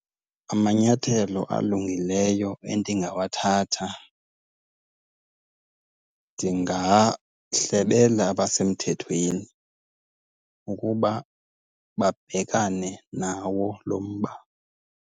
Amanyathelo alungileyo endingawathatha, ndingahlebela abasemthethweni ukuba babhekane nawo lo mba.